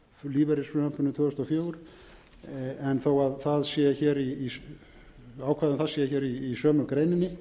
lífeyrisfrumvarpinu tvö þúsund og fjögur þó það sé hér ákvæði um það sé í sömu greininni